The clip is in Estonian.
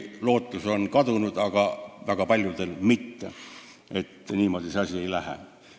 Lootus, et niimoodi see asi ei lähe, on küll kadunud, aga väga paljudel siiski mitte.